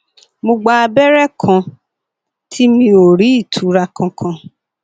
mo gba abẹrẹ kan tí mi ò rí ìtura kankan